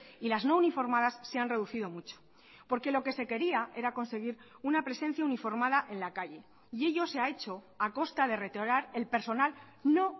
y las no uniformadas se han reducido mucho porque lo que se quería era conseguir una presencia uniformada en la calle y ello se ha hecho a costa de retirar el personal no